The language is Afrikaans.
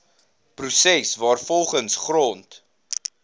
proses waarvolgens grond